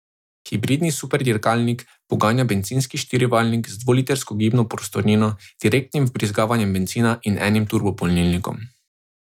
Hibridni superdirkalnik poganja bencinski štirivaljnik z dvolitrsko gibno prostornino, direktnim vbrizgavanjem bencina in enim turbopolnilnikom.